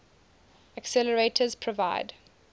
accelerators provide